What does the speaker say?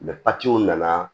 nana